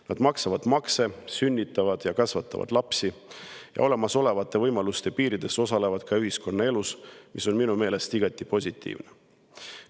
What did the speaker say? Nad maksavad makse, sünnitavad ja kasvatavad lapsi ning olemasolevate võimaluste piirides osalevad ka ühiskonnaelus, mis on minu meelest igati positiivne.